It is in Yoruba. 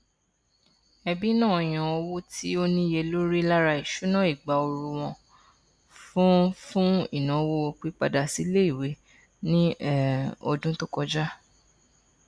ẹbí náà yan owó tí ó níye lórí lára ìṣúná ìgbà ooru wọn fún fún ìnáwó pípadàsíiléìwé ní um ọdún tó kọjá